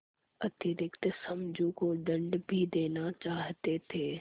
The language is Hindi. अतिरिक्त समझू को दंड भी देना चाहते थे